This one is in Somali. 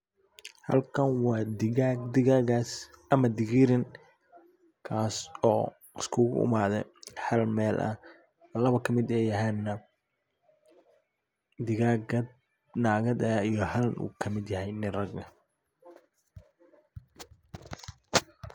Halkan wa dhigaag. Dhigaagas ama dhigiiran kaas oo iskuguimaadhay hal meel ah labo kamid eey yihiin dhigaaga naagadh ah iyo hall kamidh yahay dhigaag nin ragg